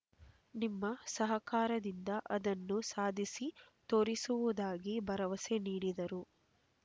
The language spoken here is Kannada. ನಿಮ್ಮ ಸಹಕಾರದಿಂದ ಅದನ್ನು ಸಾಧಿಸಿ ತೋರಿಸುವುದಾಗಿ ಭರವಸೆ ನೀಡಿದರು